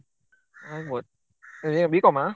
ಹ್ಮ್ ಆಗ್ಬೋದು ಸರಿ B.Com ಆ?